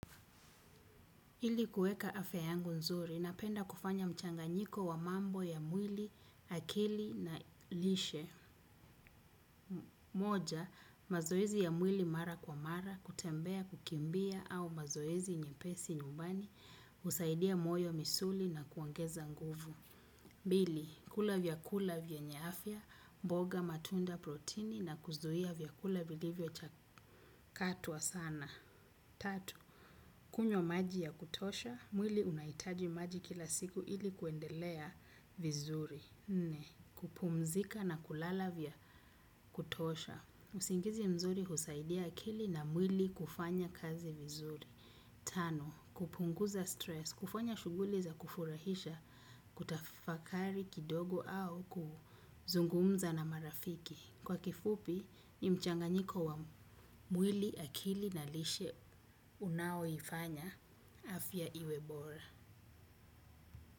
Ili kueka afya yangu nzuri, napenda kufanya mchanganyiko wa mambo ya mwili, akili na lishe. Moja, mazoezi ya mwili mara kwa mara, kutembea, kukimbia au mazoezi nyepesi nyumbani, husaidia moyo, misuli na kuongeza nguvu. Pili, kula vyakula vyenye afya, mboga, matunda, protini na kuzuia vyakula vilivyo chakatwa sana. Tatu, kunywa maji ya kutosha, mwili unahitaji maji kila siku ili kuendelea vizuri. Nne, kupumzika na kulala vya kutosha. Usingizi mzuri husaidia akili na mwili kufanya kazi vizuri. Tano, kupunguza stress, kufanya shughuli za kufurahisha, kutafakari kidogo au kuzungumza na marafiki. Kwa kifupi, ni mchanganyiko wa mwili, akili na lishe unaoifanya afya iwe bora.